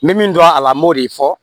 N bɛ min dɔn a la n b'o de fɔ